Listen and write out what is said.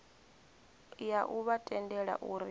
ya u vha tendela uri